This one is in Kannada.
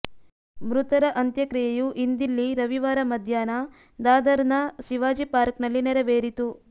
ಮೃತರ ಅಂತ್ಯಕ್ರಿಯೆಯು ಇಂದಿಲ್ಲಿ ರವಿವಾರ ಮಧ್ಯಾಹ್ನ ದಾದರ್ನ ಶಿವಾಜಿ ಪಾರ್ಕ್ನಲ್ಲಿ ನೇರವೇರಿತು